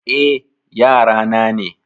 Eh, yara na ne.